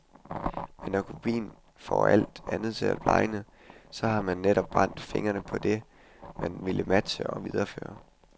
Men når kopien får alt andet til at blegne, så har man netop brændt fingrene på det, man ville matche og videreføre.